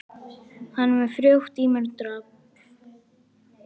Hann er með frjótt ímyndunarafl.